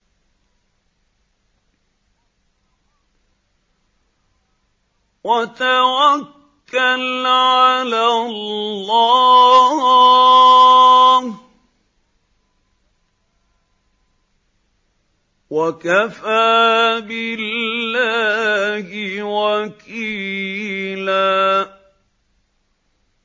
وَتَوَكَّلْ عَلَى اللَّهِ ۚ وَكَفَىٰ بِاللَّهِ وَكِيلًا